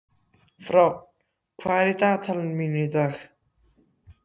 Fránn, hvað er í dagatalinu mínu í dag?